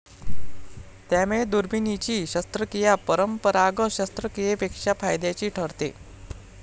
त्यामुळे 'दुर्बिणीची' शस्त्रक्रिया 'परंपरागत' शास्त्रक्रियेपेक्षा फायद्याची ठरते.